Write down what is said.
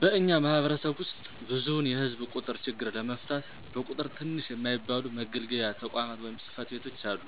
በእኛ ማህበረሰብ ዉስጥ ብዙዉን የህዝብ ቁጥር ችግር ለመፍታት በቁጥር ትንሽ የማይባሉ መገልገያ ተቋማት(ፅ/ቤቶች)አሉ።